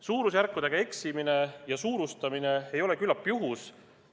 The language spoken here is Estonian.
Suurusjärkudega eksimine ja suurustamine ei ole küllap juhus.